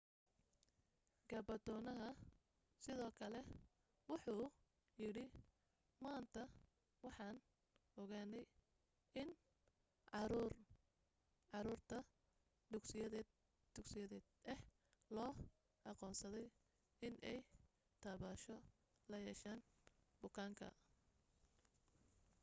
gabanatooraha sidoo kale wuxuu yidhi maanta waxaan ogaanay in caruur da' dugsiyeed ah loo aqoonsaday inay taabasho la yeesheen bukaanka